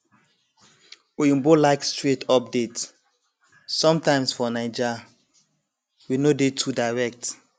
oyinbo like straight update sometimes for naija we no dey too direct